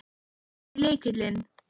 Hver er lykillinn?